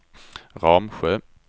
Ramsjö